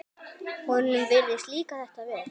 Honum virðist líka þetta vel.